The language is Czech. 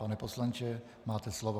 Pane poslanče, máte slovo.